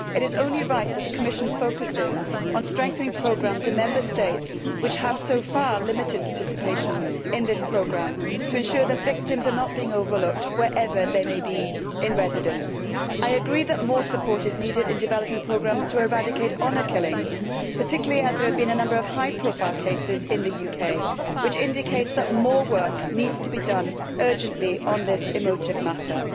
It is only right that the Commission focuses on strengthening programmes in Member States which have so far limited participation in this programme, to ensure that victims are not being overlooked wherever they may be in residence. I agree that more support is needed in developing programmes to eradicate honour killings, particularly as there have been a number of high profile cases in the UK, which indicates that more work needs to be done urgently on this emotive matter.